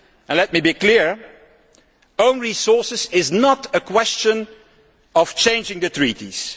Let me be clear that own resources is not a question of changing the treaties.